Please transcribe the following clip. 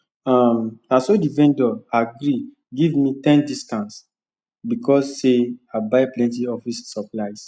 um naso the vendor agree give me ten discount because sey i buy plenty office supplies